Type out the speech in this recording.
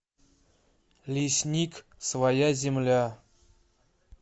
лесник своя земля